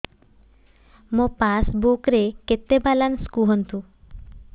ମୋ ପାସବୁକ୍ ରେ କେତେ ବାଲାନ୍ସ କୁହନ୍ତୁ